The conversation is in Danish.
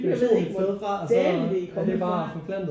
Jeg ved ikke hvor dælen det er kommet fra